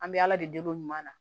An bɛ ala de deli ɲɔgɔn na